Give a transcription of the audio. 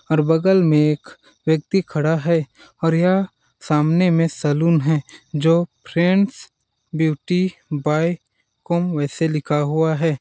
और बगल में एक व्यक्ती खड़ा है और यह सामने में सैलून है जो फ्रेंड्स ब्यूटी बाय कॉम वैसे लिखा हुआ है।